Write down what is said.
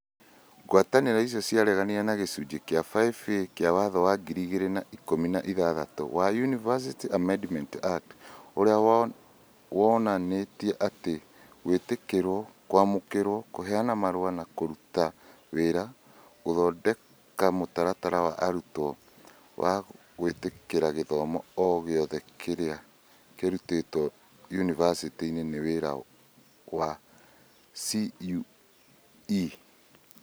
Ngwatanĩro icio ciareganire na gĩcunjĩ kĩa 5A kĩa watho wa ngiri igĩrĩ na ikũmi na ithathatũ wa ũniversities Amendment Act, ũrĩa wonanĩtie atĩ gwĩtĩkĩrwo, kwamũkĩra, kũheana marũa ma kũruta wĩra, gũthondeka mũtaratara wa arutwo na gwĩtĩkĩra gĩthomo o gĩothe kĩrĩa kĩrutĩtwo yunivasĩtĩ nĩ wĩra wa CũE.